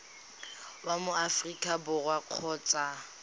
wa mo aforika borwa kgotsa